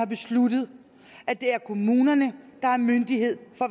besluttet at det er kommunerne der er myndighed for